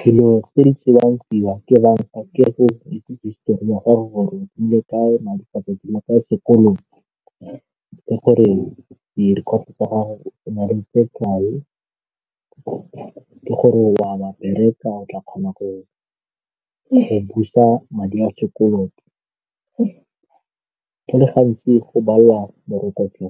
Dilo tse di tsewang tseia ke banka ke go itse histori ya gago gore ke ka sekoloto le gore di-record-o tsa gago o na le tse kae, ke gore a o a ba bereka o tla kgona go e busa madi a sekoloto go le gantsi go bala morokotso